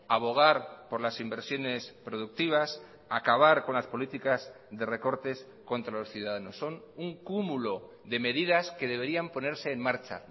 abogar por las inversiones productivas acabar con las políticas de recortes contra los ciudadanos son un cúmulo de medidas que deberían ponerse en marcha